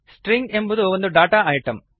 string ಎಂಬುದು ಒಂದು data item